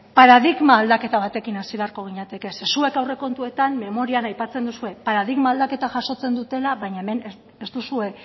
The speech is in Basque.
paradigma aldaketa batekin hasi beharko ginateke zeren zuek aurrekontuetan memorian aipatzen duzue paradigma aldaketa jasotzen dutela baina hemen ez duzue